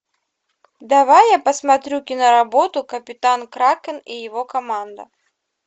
давай я посмотрю киноработу капитан кракен и его команда